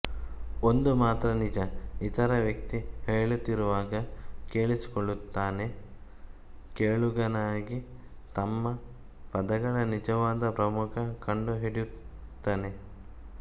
ಒಂದು ಮಾತ್ರ ನಿಜ ಇತರ ವ್ಯಕ್ತಿ ಹೇಳುತ್ತಿರುವಾಗ ಕೇಳಿಸಿಕೊಳ್ಳುತ್ತಾನೆ ಕೇಳುಗನಾಗಿ ತಮ್ಮ ಪದಗಳ ನಿಜವಾದ ಪ್ರಮುಖ ಕಂಡುಹಿಡಿಯುತ್ತನೆ